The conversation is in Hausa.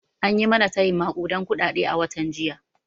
An yi mana tayin maƙuden kuɗaɗe a watan jiya